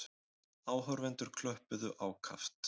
Áhorfendur klöppuðu ákaft.